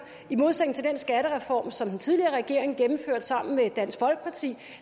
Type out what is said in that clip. i modsætning til den skattereform som den tidligere regering gennemførte sammen med dansk folkeparti